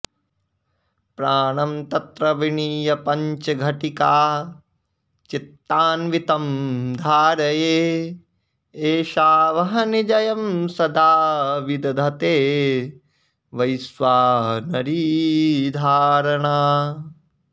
प्राणं तत्र विनीय पञ्चघटिकाश्चित्तान्वितं धारये एषा वह्निजयं सदा विदधते वैश्वानरी धारणा